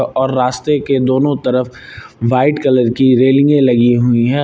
और रास्ते के दोनों तरफ व्हाइट कलर की रेलिंगे लगी हुई है।